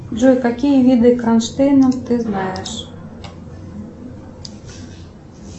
джой какие виды кронштейнов ты знаешь